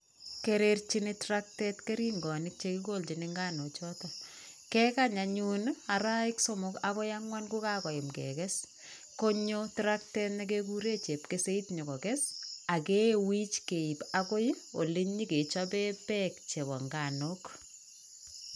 Kererchini traktet keringonik che kikoljin nganukchotok. Kekany anyun arawek somok agoi ang'wan kokakoyam kekes, konyo traktet nekegure chepkeseit nyo kokes ak kewich keiib agoi olenyikechobee beek chebo nganuk.